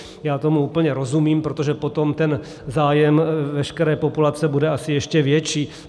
Já tomu úplně rozumím, protože potom ten zájem veškeré populace bude asi ještě větší.